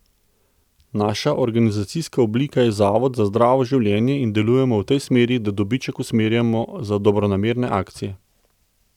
Naša organizacijska oblika je Zavod za zdravo življenje in delujemo v tej smeri, da dobiček usmerjamo za dobronamerne akcije.